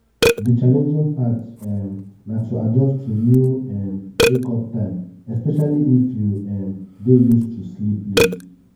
di challenging part um na to adjust to new um wake-up time especially if you um dey used to sleep late.